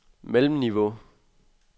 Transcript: mellemniveau